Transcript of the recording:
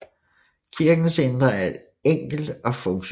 Kirkens indre er enkelt og funktionelt